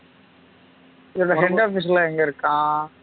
இதுல head office லா எங்க இருக்காம்